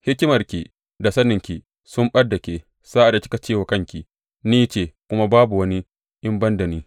Hikimarki da saninki sun ɓad da ke sa’ad da kika ce wa kanki, Ni ce, kuma babu wani in ban da ni.’